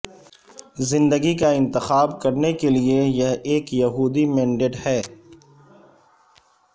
زندگی کا انتخاب کرنے کے لئے یہ ایک یہودی مینڈیٹ ہے